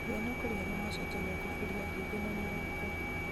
mũhiano kũrĩ arĩa macenjagia kuburi ya ihingo na mĩrango